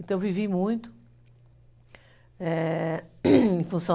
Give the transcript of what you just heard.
Então vivi muito, é... em função...